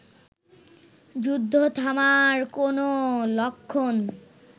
যুদ্ধ থামার কোন লক্ষণ